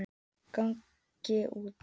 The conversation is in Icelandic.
Ég geng út.